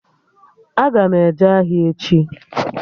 Aga m eje ahịa echi